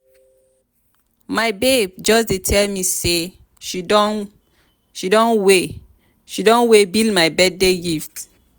my babe just dey tell me say she don way she don way bill my birthday gift.